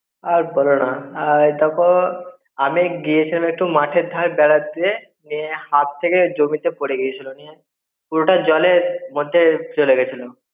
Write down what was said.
আর বোল না, আ~ তখন আমি গেছিলাম একটু মাঠের ধারে বেড়াতে, দিয়ে হাত থেকে জমিতে পড়ে গিয়েছিলো. নিয়ে পুরোটা জলের মধ্যে চলে গেছিল.